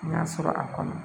N y'a sɔrɔ a kɔnɔ